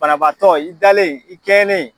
Banabaatɔ i dalen i kɛɲɛnen.